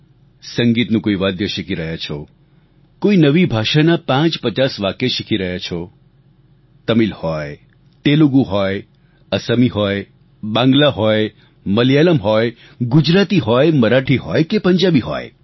સંગીતનું કોઈ વાદ્ય શીખી રહ્યા છો કોઈ નવી ભાષાના 550 વાક્ય શીખી રહ્યા છો તમિલ હોય તેલુગુ હોય અસમી હોય બાંગ્લા હોય મલયાલમ હોય ગુજરાતી હોય મરાઠી હોય કે પંજાબી હોય